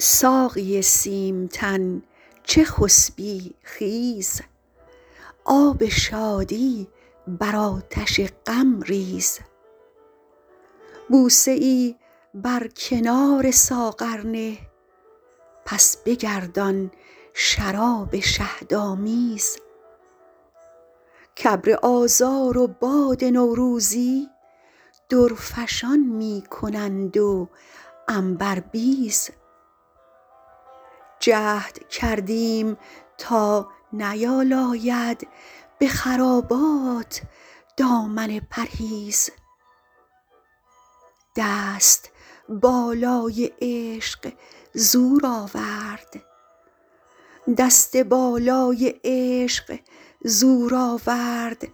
ساقی سیم تن چه خسبی خیز آب شادی بر آتش غم ریز بوسه ای بر کنار ساغر نه پس بگردان شراب شهدآمیز کابر آذار و باد نوروزی درفشان می کنند و عنبربیز جهد کردیم تا نیالاید به خرابات دامن پرهیز دست بالای عشق زور آورد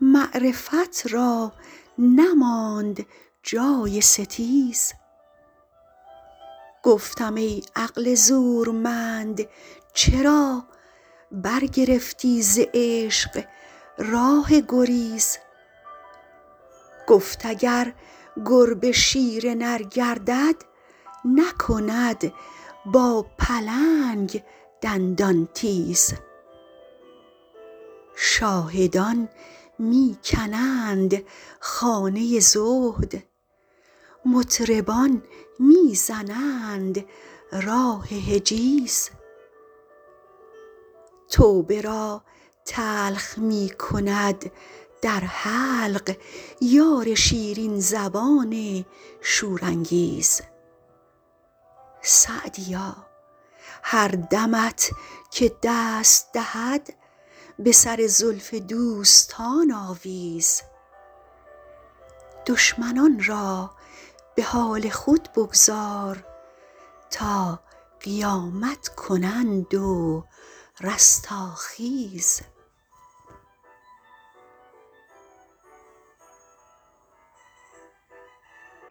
معرفت را نماند جای ستیز گفتم ای عقل زورمند چرا برگرفتی ز عشق راه گریز گفت اگر گربه شیر نر گردد نکند با پلنگ دندان تیز شاهدان می کنند خانه زهد مطربان می زنند راه حجیز توبه را تلخ می کند در حلق یار شیرین زبان شورانگیز سعدیا هر دمت که دست دهد به سر زلف دوستان آویز دشمنان را به حال خود بگذار تا قیامت کنند و رستاخیز